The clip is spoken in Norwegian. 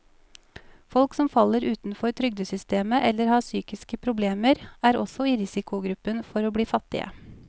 Folk som faller utenfor trygdesystemet eller har psykiske problemer, er også i risikogruppen for å bli fattige.